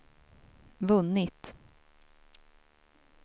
vunnit